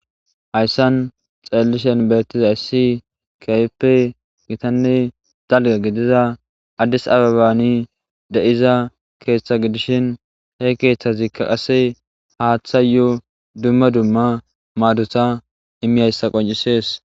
Hayssan xeellishen bertiza yssi kayeppe gitanne dalga gidiza addis ababani de'iza keeththa gidishin he keeththazikka qase haaththa yoo dumma dumma maaduta immiyayssa qoncisees.